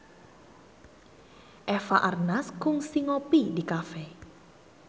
Eva Arnaz kungsi ngopi di cafe